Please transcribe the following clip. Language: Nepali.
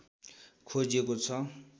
खोजिएको छ